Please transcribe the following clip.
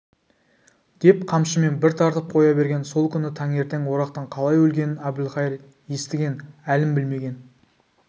деп қамшымен бір тартып қоя берген сол күні таңертең орақтың қалай өлгенін әбілқайыр естіген әлін білмеген